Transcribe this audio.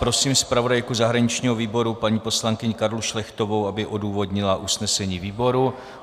Prosím zpravodajku zahraničního výboru paní poslankyni Karlu Šlechtovou, aby odůvodnila usnesení výboru.